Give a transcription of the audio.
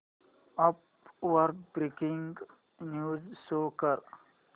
app वर breaking news show कर